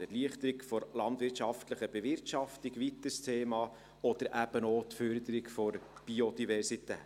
Eine Erleichterung der landwirtschaftlichen Bewirtschaftung ist ein weiteres Thema oder eben auch die Förderung der Biodiversität.